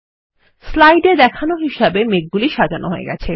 slide এ দেখানো আছে তেমনভাবে মেঘগুলি সাজানো হয়ে গেছে